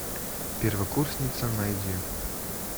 первокурсница найди